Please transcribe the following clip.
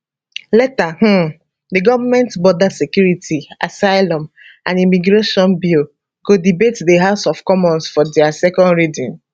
later um di goment border security asylum and immigration bill go debate di house of commons for dia second reading